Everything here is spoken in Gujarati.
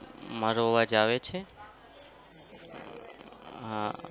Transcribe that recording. મારો અવાજ આવે છે? હા.